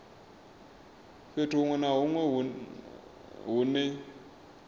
fhethu huṅwe na huṅwe hune